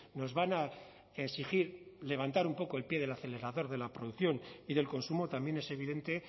nos van a exigir levantar un poco el pie del acelerador de la producción y del consumo también es evidente